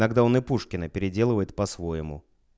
тогда он и пушкина переделывает по-своему